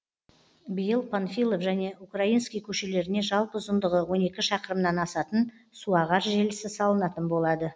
биыл панфилов және украинский көшелеріне жалпы ұзындығы он екі шақырымнан асатын суағар желісі салынатын болады